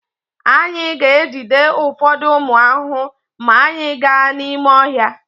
Anyị ga-ejide ụfọdụ ụmụ ahụhụ maa anyị gaa n'ime ọhịa.